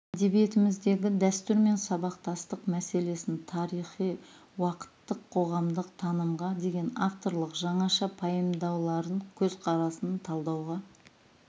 әдебиетіміздегі дәстүр мен сабақтастық мәселесін тарихи уақыттық қоғамдық танымға деген авторлық жаңаша пайымдауларын көзқарасын талдауға